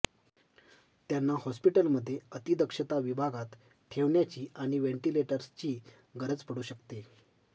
त्यांना हॉस्पिटलमध्ये अतिदक्षता विभागात ठेवण्याची आणि व्हेंटिलेटर्सची गरज पडू शकते